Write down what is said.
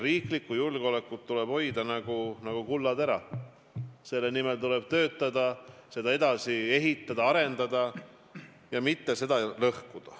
Riiklikku julgeolekut tuleb hoida nagu kullatera, selle nimel tuleb töötada, seda edasi ehitada, arendada ja mitte seda lõhkuda.